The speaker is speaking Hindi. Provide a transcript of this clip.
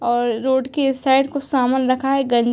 और रोड के इस साइड कुछ सामान रखा है गं --